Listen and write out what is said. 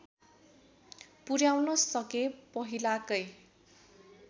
पुर्‍याउन सके पहिलाकै